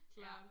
Klart